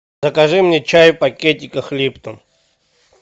закажи мне чай в пакетиках липтон